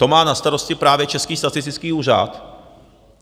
To má na starosti právě Český statistický úřad.